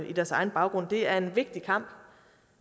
i deres egen baggrund det er en vigtig kamp